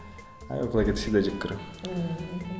ы плагиатты всегда жек көремін ммм мхм